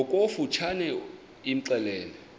ngokofu tshane imxelele